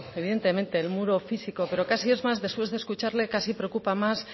evidentemente el muro físico pero después de escucharle casi preocupa más